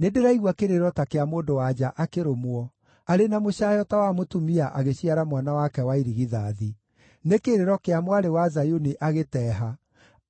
Nĩndĩraigua kĩrĩro ta kĩa mũndũ-wa-nja akĩrũmwo, arĩ na mũcaayo ta wa mũtumia agĩciara mwana wake wa irigithathi: nĩ kĩrĩro kĩa Mwarĩ wa Zayuni agĩteeha,